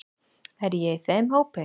Er ég í þeim hópi.